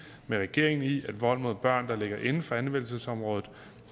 med regeringen i at vold mod børn der ligger inden for anvendelsesområdet